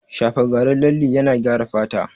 Shafa garin lalle yana gyara fata